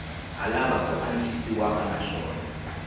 ha lava ku antswisiwa naswona